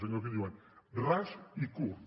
allò que en diuen ras i curt